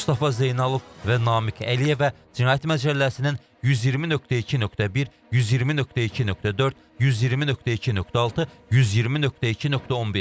Mustafa Zeynalov və Namiq Əliyevə cinayət məcəlləsinin 120.2.1, 120.2.4, 120.2.6, 120.2.11.